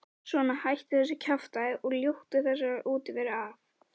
Svona, hættu þessu kjaftæði og ljúktu þessari útiveru af.